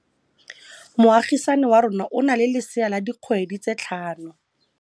Moagisane wa rona o na le lesea la dikgwedi tse tlhano.